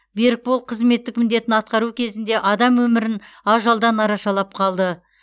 берікбол қызметтік міндетін атқару кезінде адам өмірін ажалдан арашалап қалды